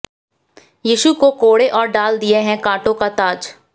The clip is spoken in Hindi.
यीशु को कोड़े और डाल दिया है कांटों का ताज